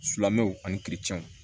Silamɛw ani